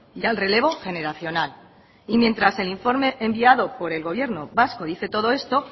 y al relevo generacional y mientras el informe enviado por el gobierno vasco dice todo esto